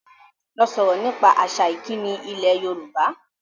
Lọ sọ̀rọ̀ nípa àṣà ìkíni ilẹ̀ Yorùbá!